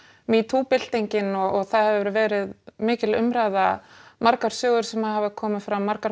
metoo byltingin og það hefur verið mikil umræða margar sögur sem hafa komið fram margar